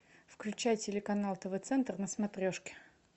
включай телеканал тв центр на смотрешке